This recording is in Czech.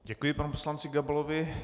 Děkuji panu poslanci Gabalovi.